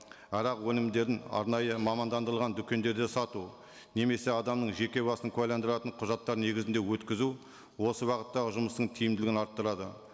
арақ өнімдерін арнайы мамандандырылған дүкендерде сату немесе адамның жеке басын куәландыратын құжаттар негізінде өткізу осы бағыттағы жұмыстың тиімділігін арттырады